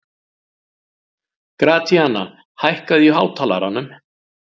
Gratíana, hækkaðu í hátalaranum.